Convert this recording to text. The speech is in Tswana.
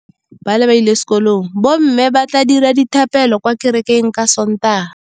Bommê ba tla dira dithapêlô kwa kerekeng ka Sontaga.